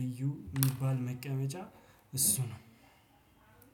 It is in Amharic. ልዩ የሚባል መቀመጫ እሱ ነው።